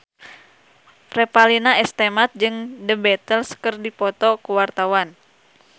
Revalina S. Temat jeung The Beatles keur dipoto ku wartawan